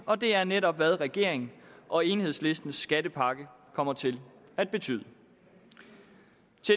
og det er netop hvad regeringen og enhedslistens skattepakke kommer til at betyde